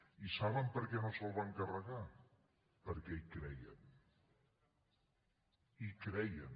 i saben per què no se’l van carregar perquè hi creien hi creien